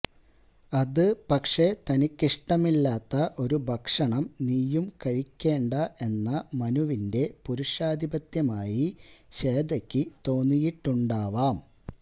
അത് പക്ഷേ തനിക്കിഷ്ടമില്ലാത്ത ഒരു ഭക്ഷണം നീയും കഴിക്കേണ്ട എന്ന മനുവിന്റെ പുരുഷാധിപത്യമായി ശ്വേതക്ക് തോന്നിയിട്ടുണ്ടാവാം